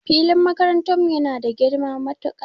Filin makarantan mu yana da girma matuka